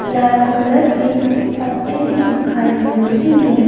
लाल colour के पत्ते भी दिखाई दे रहे हैं।